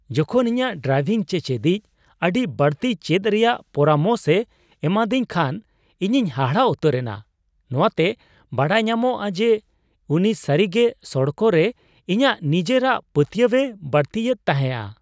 ᱡᱚᱠᱷᱚᱱ ᱤᱧᱟᱹᱜ ᱰᱨᱟᱭᱤᱵᱷᱤᱝ ᱪᱮᱪᱮᱫᱤᱡ ᱟᱹᱰᱤ ᱵᱟᱹᱲᱛᱤ ᱪᱮᱫ ᱨᱮᱭᱟᱜ ᱯᱚᱨᱟᱢᱚᱥᱮ ᱮᱢᱟᱫᱤᱧ ᱠᱷᱟᱱ ᱤᱧᱤᱧ ᱦᱟᱦᱟᱲᱟ ᱩᱛᱟᱹᱨ ᱮᱱᱟ ᱾ ᱱᱚᱣᱟᱛᱮ ᱵᱟᱰᱟᱭ ᱧᱟᱢᱚᱜ ᱡᱮ ᱩᱱᱤ ᱥᱟᱹᱨᱤᱜᱮ ᱥᱚᱲᱚᱠ ᱨᱮ ᱤᱧᱟᱹᱜ ᱱᱤᱡᱮᱨᱟᱜ ᱯᱟᱹᱛᱭᱟᱹᱣᱟᱮ ᱵᱟᱹᱲᱛᱤᱭᱮᱫ ᱛᱟᱦᱮᱸᱜᱼᱟ ᱾